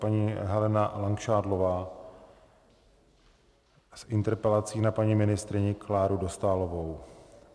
Paní Helena Langšádlová s interpelací na paní ministryni Kláru Dostálovou.